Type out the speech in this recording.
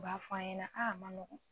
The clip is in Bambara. U b'a fɔ a ɲɛna a ma nɔgɔ